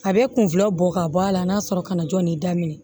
A bɛ kunfila bɔ ka bɔ a la n'a sɔrɔ kana jɔn ni daminɛ